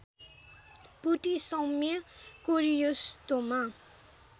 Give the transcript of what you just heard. पुटि सौम्य कोरियोस्टोमा